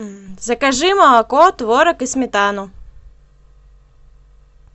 закажи молоко творог и сметану